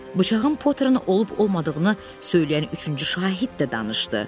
Bıçağın Potterin olub-olmadığını söyləyən üçüncü şahid də danışdı.